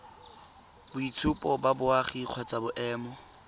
boitshupo ba boagi kgotsa boemo